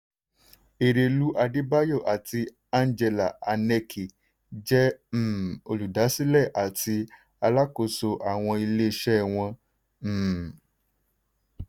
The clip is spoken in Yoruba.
erelú adébáyọ̀ àti angela aneke jẹ́ um olùdásílẹ̀ àti alákóso àwọn ilé-iṣẹ́ wọn. um